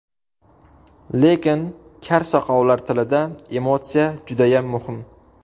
Lekin kar-soqovlar tilida emotsiya judayam muhim.